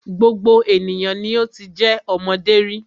Gbogbo ènìyàn ni o ti jẹ́ ọmọdé rí.